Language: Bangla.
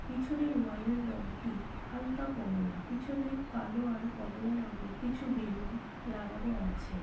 পিছনের ওয়ালের রংটি হালকা কমলা । পিছনে কালো আর কমলা রং এর কিছু বেলুন লাগানো আছে।